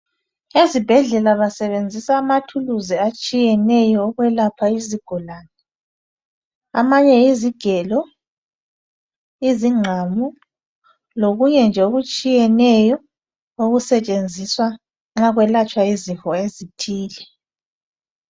Ezibhedlela basebenzisa amathulusi atshiyeneyo ukwelapha izigulane. Amanye yizigelo, izingqamu lokunye nje okutshiyeneyo okusetshenziswa nxa kuselatshwa izifo ezithile.